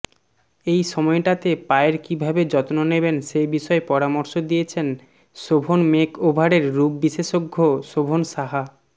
এই সময়টাতে পায়ের কীভাবে যত্ন নেবেন সে বিষয়ে পরামর্শ দিয়েছেন শোভন মেকওভারের রূপবিশেষজ্ঞ শোভন সাহা